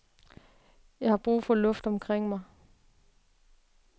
Jeg har brug for luft omkring mig.